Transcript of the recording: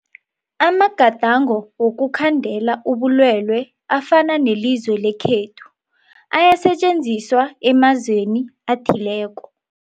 Amagadango wokukhandela ubulwele afana newelizwe lekhethu ayasetjenziswa emazweni athileko.